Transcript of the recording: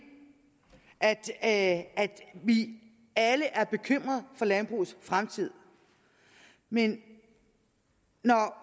at vi alle er bekymret for landbrugets fremtid men når